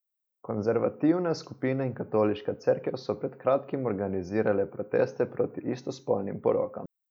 Konzervativne skupine in katoliška cerkev so pred kratkim organizirale proteste proti istospolnim porokam.